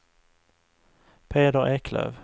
Peder Eklöf